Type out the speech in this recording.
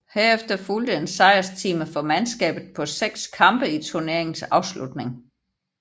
Herefter fulgte en sejrsstime for mandskabet på seks kampe i turneringens afslutning